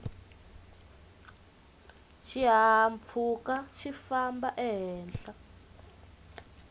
xihahampfhuka xifamba ehenhla